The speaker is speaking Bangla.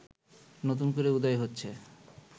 নতুন করে উদয় হচ্ছে